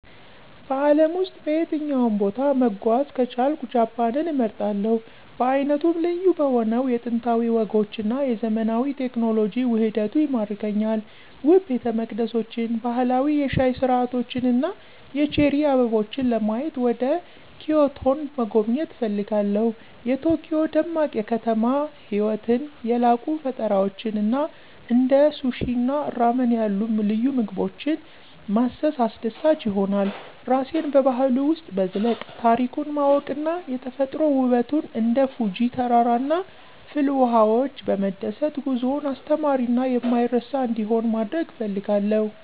በአለም ውስጥ በየትኛውም ቦታ መጓዝ ከቻልኩ ጃፓንን እመርጣለሁ. በዓይነቱ ልዩ በሆነው የጥንታዊ ወጎች እና የዘመናዊ ቴክኖሎጂ ውህደቱ ይማርከኛል። ውብ ቤተመቅደሶችን፣ ባህላዊ የሻይ ሥርዓቶችን እና የቼሪ አበቦችን ለማየት ወደ ኪዮቶን መጎብኘት እፈልጋለሁ። የቶኪዮ ደማቅ የከተማ ህይወትን፣ የላቁ ፈጠራዎችን እና እንደ ሱሺ እና ራመን ያሉ ልዩ ምግቦችን ማሰስ አስደሳች ይሆናል። ራሴን በባህሉ ውስጥ መዝለቅ፣ ታሪኩን ማወቅ እና የተፈጥሮ ውበቱን እንደ ፉጂ ተራራ እና ፍልውሃዎች በመደሰት ጉዞውን አስተማሪ እና የማይረሳ እንዲሆን ማድረግ እፈልጋለሁ።